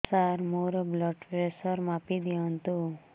ସାର ମୋର blood pressure ମାପି ଦିଅନ୍ତୁ